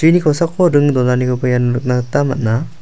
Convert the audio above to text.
uni kosako ring donanikoba iano nikna gita man·a.